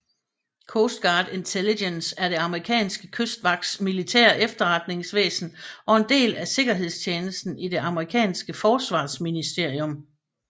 Coast Guard Intelligence er det amerikanske kystvagts militære efterretningsvæsen og en del af sikkerhedstjenesten i det amerikanske forsvarsministerium